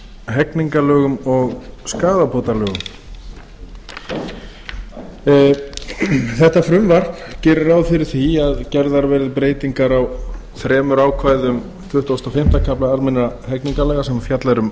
hegningarlögum og skaðabótalögum þetta frumvarp gerir ráð fyrir að gerðar verði breytingar á þremur ákvæðum tuttugasta og fimmta kafla almennra hegningarlaga þar sem fjallað er um